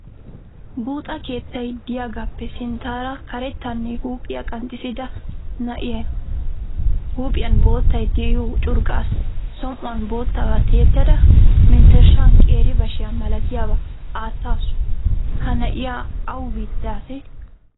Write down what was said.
Buuxa keettay de"iyaagaappe sinttaara karettanne huuphiya qanxissida na"iyaa huuphiyan boottay de"iyoo curqqaa som"uwan boottabaa tiyettida menttereshan qeeri bashiya malatiyaba aattaasu. Ha na"iya awa biitta asee?